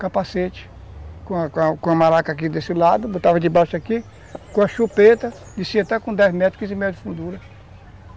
capacete, com com com a maraca aqui desse lado, botava debaixo aqui, com a chupeta, descia até com dez metros, quinze metros de fundura.